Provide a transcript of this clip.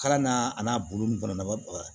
Kalan n'a a n'a bolo nun fana na